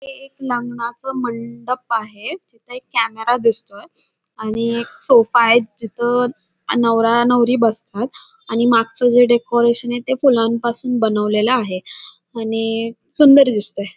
हे एक लग्नाच मंडप आहे तिथ एक कॅमेरा दिसतोय आणि एक सोफा आहे जिथ नवरा नवरी बसतात आणि मागच जे डेकोरेशन य ते फुलांपासून बनवलेल आहे आणि सुंदर दिसतय.